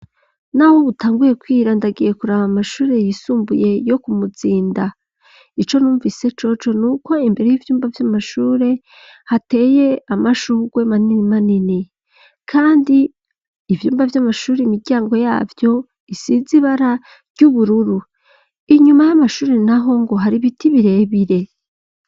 Naho butanguye kwira ndagiye kuraba amashure yisumbuye yo Kumuzinda. Ico numvise coco ni uko imbere y'ivyumba vy'amashure hateye amashugwe manini manini. Kandi ivyumba vy'amashure, imiryango yavyo isize ibara ry'ubururu. Inyuma y'amashuri naho ngo hari biti birebire.